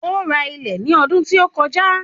Ó ra ilẹ̀ ní ọdún tí ó kọjá.